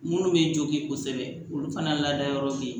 Minnu bɛ jogin kosɛbɛ olu fana lada yɔrɔ be yen